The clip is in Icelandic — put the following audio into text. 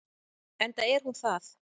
Enda er hún það.